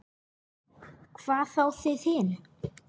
Hvað þá þið hin.